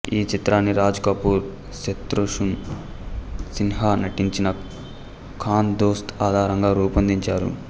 ఈ చిత్రాన్ని రాజ్ కపూర్ శత్రుఘన్ సిన్హా నటించిన ఖాన్ దోస్త్ ఆధారంగా రూపొందించారు